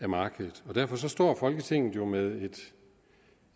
markedet derfor står folketinget jo med